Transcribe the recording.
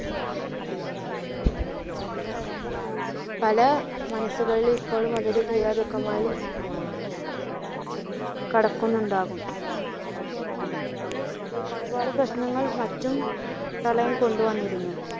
പല മനസ്സുകളിലും ഇപ്പോഴും അത് ഒരു തീരാ ദുഖമായി കടക്കുന്നുണ്ടാകും. അങ്ങനെ ഒരുപാട് പ്രശ്നങ്ങൾ മറ്റും പ്രളയം കൊണ്ട് വന്നിരുന്നു.